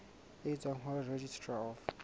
e tswang ho registrar of